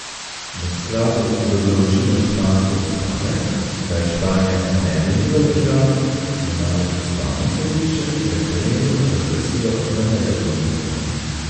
V skladu z določilom španske ustave, da je Španija nedeljiva država, je namreč ustavno sodišče referendum razglasilo za nezakonitega.